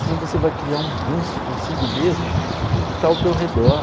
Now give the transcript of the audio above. Senão você vai criar um ranço consigo mesmo e com o que está ao teu redor.